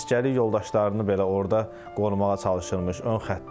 Əsgərlik yoldaşlarını belə orda qorumağa çalışırmış ön xəttdə.